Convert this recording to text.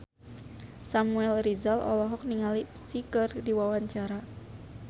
Samuel Rizal olohok ningali Psy keur diwawancara